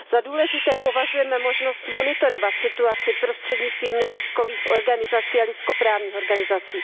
Za důležité považujeme možnost monitorovat situaci prostřednictvím neziskových organizací a lidskoprávních organizací.